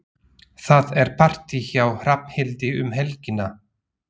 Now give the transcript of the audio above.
Það er partí hjá Hrafnhildi um helgina.